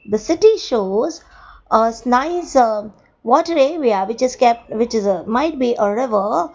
the city shows a s nice water area which is kep which is might be a river.